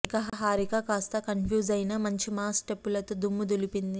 ఇక హారిక కాస్త కన్ఫ్యూజ్ అయినా మంచి మాస్ స్టెప్పులతో దుమ్ము దులిపింది